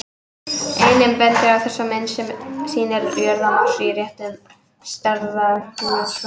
Einnig bendum við á þessa mynd, sem sýnir jörð og Mars í réttum stærðarhlutföllum.